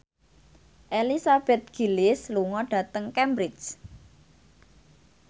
Elizabeth Gillies lunga dhateng Cambridge